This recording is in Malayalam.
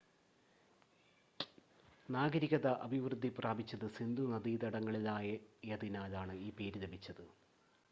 നാഗരികത അഭിവൃദ്ധി പ്രാപിച്ചത് സിന്ധു നദീതടങ്ങളിലായതിനാലാണ് ഈ പേര് ലഭിച്ചത്